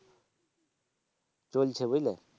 চলছে বুঝলে।